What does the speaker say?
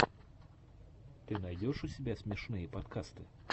ты найдешь у себя смешные подкасты